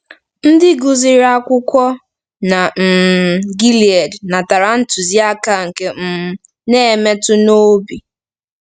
Ndị gụsịrị akwụkwọ na um Gilied natara ntụziaka nke um na-emetụ n'obi